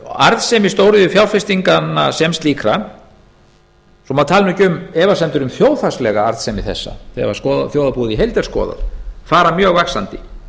arðsemi stóriðjufjárfestinganna sem slíkra svo maður tali nú ekki um efasemdir um þjóðhagslega arðsemi þessa þegar þjóðarbúið í heild er skoðað fara mjög vaxandi